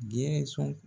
Gɛɛsɔn